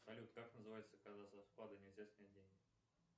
салют как называется когда со вклада нельзя снять деньги